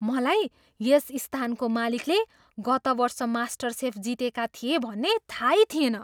मलाई यस स्थानको मालिकले गत वर्ष मास्टरसेफ जितेका थिए भन्ने थाहै थिएन!